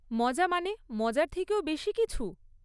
মজা মানে, মজার থেকেও বেশি কিছু!